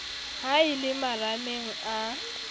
ha e le marameng a